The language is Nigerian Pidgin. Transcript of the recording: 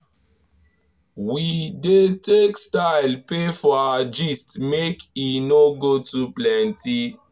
we dey take style pay for our gist make e no go too plenty.